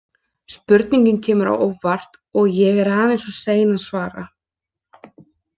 Spurningin kemur á óvart og ég er aðeins of sein að svara.